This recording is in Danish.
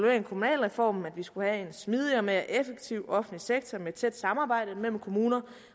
af kommunalreformen nemlig at vi skulle have en smidigere og mere effektiv offentlig sektor med tæt samarbejde mellem kommuner